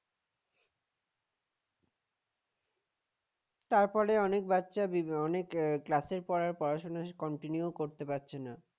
তারপরেও অনেক বাচ্চা অনেক calss এর পড়া পড়াশোনা continue করতে পারছে না